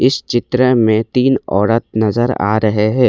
इस चित्र में तीन औरत नजर आ रहे हैं।